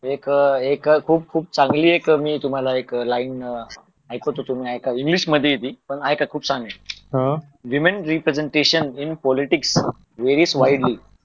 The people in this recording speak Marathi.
एक खूप खूप चांगली एक अशी खुप एक लाईन ऐकवत होतो इंग्लिश मध्ये ती पण ऐका खुप चांगली ये ती human representation in politics varies wildly